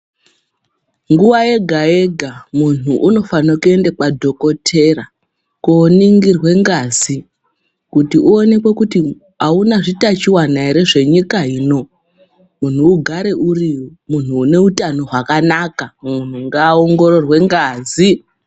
Nguva yega-yega muntu unofane kuenda kwadhokotera koningirwe ngazi. Kuti unonekwe kuti hauna zvitachivana ere zvenyika ino. Muntu ugare uri muntu une utano hwakanaka muntu ngaaongororwe ngazi.